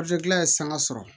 gilan ye sanga sɔrɔ